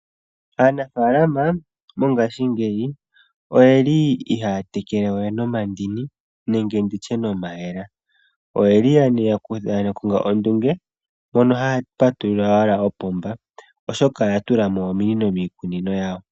Aanafalama mongashingeyi oyeli ihaaya tekele we nomandini nenge nditye nomayemele. Oyeli yakonga ondunge mono haya patulula owala opomba oshoka oya tula mo ominino miikunino yawo.